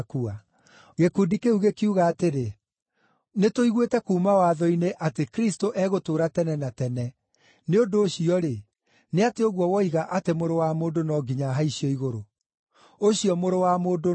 Gĩkundi kĩu gĩkiuga atĩrĩ, “Nĩtũiguĩte kuuma Watho-inĩ atĩ Kristũ egũtũũra tene na tene, nĩ ũndũ ũcio-rĩ, nĩ atĩa ũguo woiga atĩ ‘Mũrũ wa Mũndũ no nginya ahaicio igũrũ’? Ũcio ‘Mũrũ wa Mũndũ’ nũũ?”